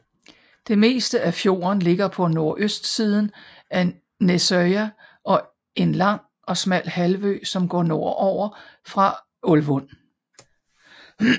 Det meste af fjorden ligger på nordøstsiden af Nesøya og en lang og smal halvø som går nordover fra Ålvund